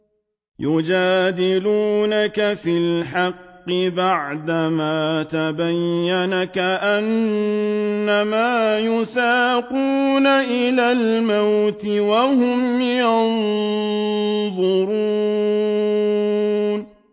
يُجَادِلُونَكَ فِي الْحَقِّ بَعْدَمَا تَبَيَّنَ كَأَنَّمَا يُسَاقُونَ إِلَى الْمَوْتِ وَهُمْ يَنظُرُونَ